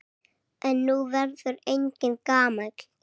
En nú verður enginn gamall.